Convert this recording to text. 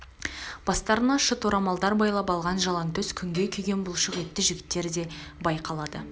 бастарына шыт орамалдар байлап алған жалаңтөс күнге күйген бұлшық етті жігттер де байқалады